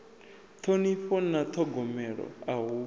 ṱhonifho na ṱhogomelo a hu